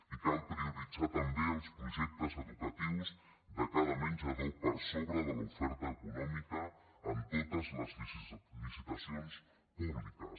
i cal prioritzar també els projectes educatius de cada menjador per sobre de l’oferta econòmica en totes les licitacions públiques